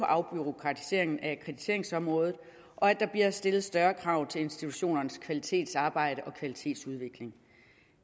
afbureaukratisering af akkrediteringsområdet og at der bliver stillet større krav til institutionernes kvalitetsarbejde og kvalitetsudvikling